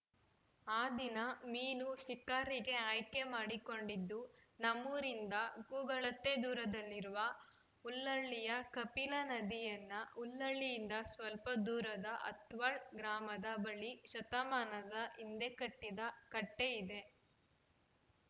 ಆ ದಿನ ಮೀನು ಶಿಕಾರಿಗೆ ಆಯ್ಕೆ ಮಾಡಿಕೊಂಡಿದ್ದು ನಮ್ಮೂರಿಂದ ಕೂಗಳತೆ ದೂರದಲ್ಲಿರುವ ಹುಲ್ಲಹಳ್ಳಿಯ ಕಪಿಲ ನದಿಯನ್ನ ಹುಲ್ಲಹಳ್ಳಿಯಿಂದ ಸ್ವಲ್ಪ ದೂರದ ಹತ್ವಾಳ್‌ ಗ್ರಾಮದ ಬಳಿ ಶತಮಾನದ ಹಿಂದೆ ಕಟ್ಟಿದ ಕಟ್ಟೆಇದೆ